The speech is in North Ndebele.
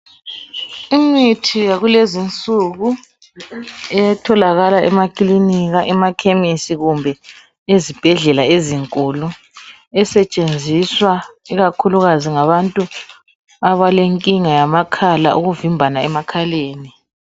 Imithi yakulezi insuku, etholakala emakilika, emakhemesi kumbe ezibhedlela ezikhulu. Esenziswa ngabantu ikhakhulukazi labantu abalenkinga yamakhala, ekuvimbana emakhaleni.